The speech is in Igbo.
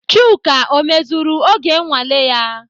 Chuka ọ mezuru oge nnwale ya?